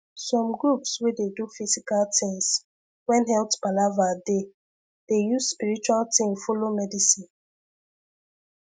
some groups wey dey do physical things when health palava dey dey use spiritual thing follow medicine